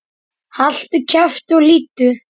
Haltu kjafti og hlýddu!